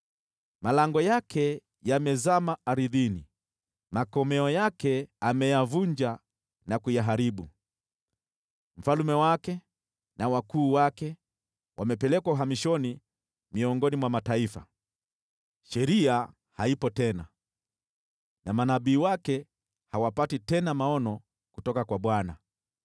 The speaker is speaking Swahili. Malango yake yamezama ardhini, makomeo yake ameyavunja na kuyaharibu. Mfalme wake na wakuu wake wamepelekwa uhamishoni miongoni mwa mataifa, sheria haipo tena, na manabii wake hawapati tena maono kutoka kwa Bwana .